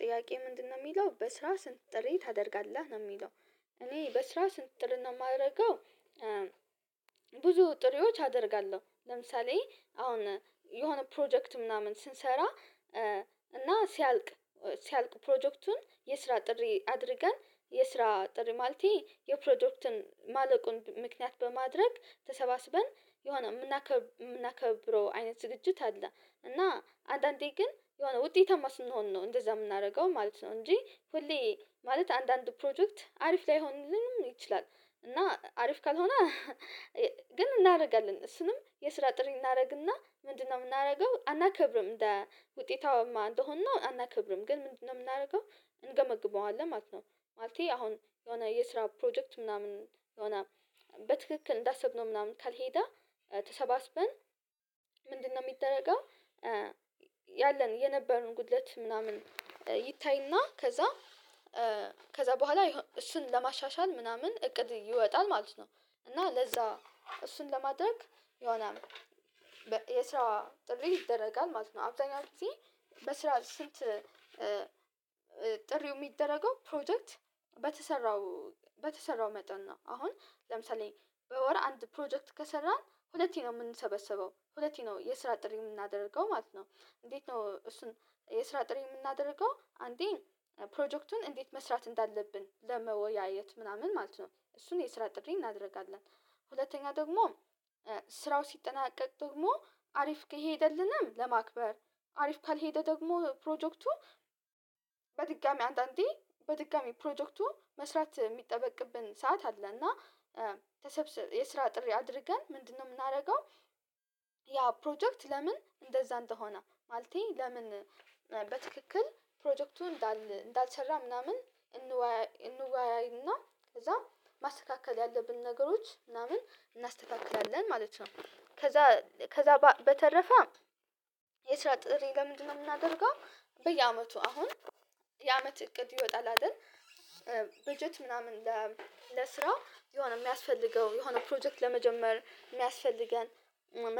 ጥያቄ ምንድነው የሚለው በስራ ስንት ጥሪ ታደርጋለህ ነው የሚለው? እኔ በስራው ስንት ጥር ነው የማደርገው። ብዙ ጥሪዎች አደርጋለሁ ለምሳሌ አሁን የሆነ ፕሮጀክት ምናምን ስንሰራ እና ሲያልቅ ሲያልቅ ፕሮጀክቱን የስራ ጥሪ አድርገን የስራ ጥሪ ማለቴ የፕሮዳክትን ማለቁን ምክንያት በማድረግ ተሰባስበን የሆነ የምናከብረው አይነት ዝግጅት አለ። እና አንዳንዴ ግን የሆነ ውጤታማ ስንሆን ነው እንደዛ የምናደርገው ማለት ነው እንጂ ሁሌ ማለት አንዳንድ ፕሮጀክት አሪፍ ላይሆንልንም ይችላል። እና አሪፍ ካልሆነ ግን እናደርጋለን እሱንም የስራ ጥሪ እናደርግና ምንድነው የምናደርገው አናከብርም እንደ ውጤታውማ እንደሆንን አናከብርም ግን ምንድነው የምናደርገው? እንገመግበዋለን ማለት ነው። ማለቴ አሁን የሆነ የስራ ፕሮጀክት ምናምን የሆነ በትክክል እንዳሰብነው ምናምን ካልሄደ ተሰባስበን ምንድ ነው የሚደረገው ያለን የነበረውን ጉድለት ምናምን ይታይና ከዛ ከዛ በኋላ እሱን ለማሻሻል ምናምን እቅድ ይወጣል ማለት ነው። እና ለዛ እሱን ለማድረግ የሆነ የስራ ጥሪ ይደረጋል ማለት ነው። አብዛኛው ጊዜ በስራ ስንት ጥሪው የሚደረገው ፕሮጀክት በተሰራው በተሰራው መጠን ነው አሁን ለምሳሌ በወር አንድ ፕሮጀክት ከሰራን ሁለቴ ነው የምንሰበሰበው ሁለቴ ነው የስራ ጥሪ የምናደርገው ማለት ነው። እንዴት ነው እሱን የስራ ጥሬ የምናደርገው አንዴ ፕሮጀክቱን እንዴት መስራት እንዳለብን ለመወያየት ምናምን ማለት ነው። እሱን የስራ ጥድሬ እናደርጋለን። ሁለተኛ ደግሞ ስራው ሲጠናቀቅ ደግሞ አሪፍ ከሄደልንም ለማክበር አሪፍ ካልሄደ ደግሞ ፕሮጀክቱ በድጋሜ አንዳንዴ በድጋሜ ፕሮጀክቱ መስራት የሚጠበቅብን ሰዓት አለ። እና ተሰብስብ የስራ ጥሪ አድርገን ምንድነው የምናደርገው? ያ ፕሮጀክት ለምን እንደዛ እንደሆነ ማለቴ ለምን በትክክል ፕሮጀክቱ እንዳልተሰራ ምናምን እንዋያይ እንዋያይና እና ከዛ ማስተካከል ያለብን ነገሮች ምናምን እናስተካክላለን ማለት ነው። ከዛ ከዛ በተረፈ የስራ ጥሪ ለምንድነው የምናደርገው? በየአመቱ አሁን የአመት እቅድ ይወጣል አይደል ብጀት ምናምን ለስራው የሆነ የሚያስፈልገው የሆነ ፕሮጀክት ለመጀመር የሚያስፈልገን